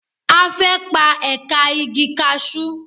A fẹ́ pa ẹ̀ka igi kasú.